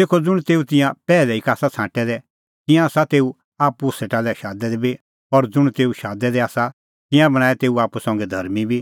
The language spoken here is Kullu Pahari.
तेखअ ज़ुंण तेऊ तिंयां पैहलै ई का आसा छ़ांटै दै तिंयां आसा तेऊ आप्पू सेटा लै शादै दै बी और ज़ुंण तेऊ शादै दै आसा तिंयां बणांऐं तेऊ आप्पू संघै धर्मीं बी